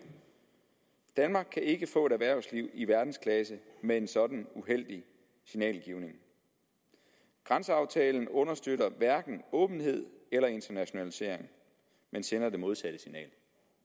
danmark kan ikke få et erhvervsliv i verdensklasse med en sådan uheldig signalgivning grænseaftalen understøtter hverken åbenhed eller internationalisering men sender det modsatte signal